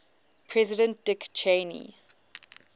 president dick cheney